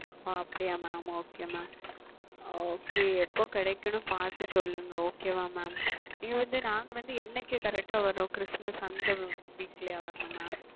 ஓ அப்படியா Mam okay MamOkay எப்பொழுது கிடைக்கும் என்று பார்த்து சொல்லுங்கள் Okay ஆ Mam இது வந்து நாங்கள் என்றைக்கு Correct வர வேண்டும் Christmas அந்த Week ல வர வேண்டும் Mam